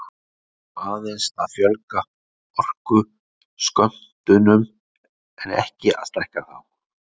við erum þá aðeins að fjölga orkuskömmtunum en ekki að stækka þá